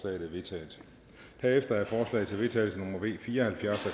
er vedtaget herefter er forslag til vedtagelse nummer v fire og halvfjerds af